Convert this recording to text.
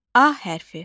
A hərfi.